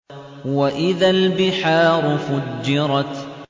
وَإِذَا الْبِحَارُ فُجِّرَتْ